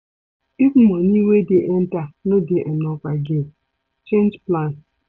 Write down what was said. If money wey dey enter no dey enough again, change plans